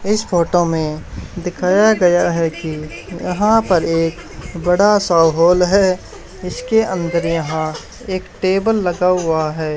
इस फोटो मे दिखाया गया है कि यहां पर एक बड़ा सा हाल है इसके अंदर यहा एक टेबल लगा हुआ है।